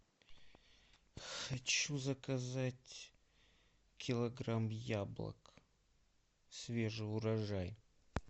хочу заказать килограмм яблок свежий урожай